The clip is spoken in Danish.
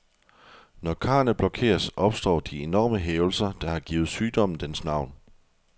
Når karrene blokeres, opstår de enorme hævelser, der har givet sygdommen dens navn.